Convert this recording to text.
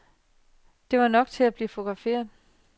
Det var nok til at blive fotograferet.